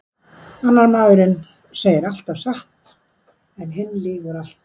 Annar maðurinn segir alltaf satt en hinn lýgur alltaf.